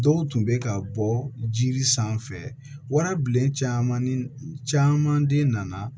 Dɔw tun bɛ ka bɔ jiri sanfɛ warabilen caman den nana